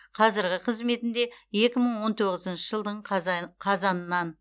қазіргі қызметінде екі мың он тоғызыншы жылдың қазанынан